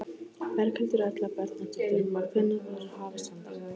Berghildur Erla Bernharðsdóttir: Hvenær verður hafist handa?